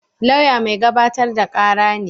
Lauya mai gabatar da kara ne